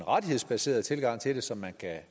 rettighedsbaseret tilgang til det så man kan